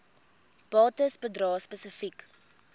bates bedrae spesifiek